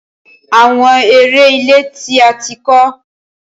Awọn ere ile ti a ti kọ